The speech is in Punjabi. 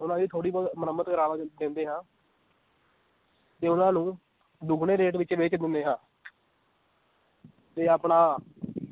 ਉਹਨਾਂ ਦੀ ਥੋੜ੍ਹੀ ਬਹੁਤ ਮੁਰੰਮਤ ਕਰਵਾ ਦਿੰਦੇ ਹਾਂ ਤੇ ਉਹਨਾਂ ਨੂੰ ਦੁਗਣੇ rate ਵਿੱਚ ਵੇਚ ਦਿੰਦੇ ਹਾਂ ਤੇ ਆਪਣਾ